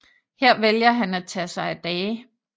Her vælger han at tage sig af dage